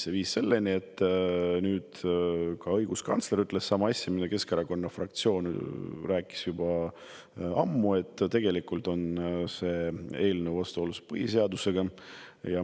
See viis selleni – nüüd on ka õiguskantsler öelnud sama asja, mida Keskerakonna fraktsioon on juba ammu rääkinud –, et see eelnõu on vastuolus põhiseadusega.